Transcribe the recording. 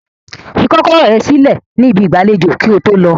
Fi kọkọrọ rẹ silẹ ni ibi igbalejo ki oto lọ!